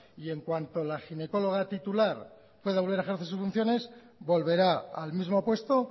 y en cuanto a la ginecóloga titular pueda volver a ejercer sus funciones volverá al mismo puesto